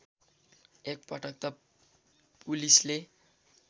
एकपटक त पुलिसले